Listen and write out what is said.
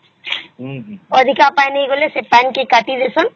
ଅଧିକ ପାଣି ଗଲେ ସେ ପାଣି କେ କାଟି ଡେଇଁସନ